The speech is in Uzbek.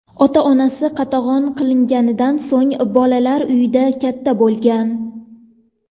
Ota-onasi qatag‘on qilinganidan so‘ng bolalar uyida katta bo‘lgan.